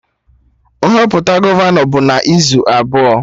Nhọpụta gọvanọ bụ n'izu abụọ